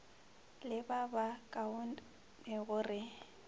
le ba ba kaonego re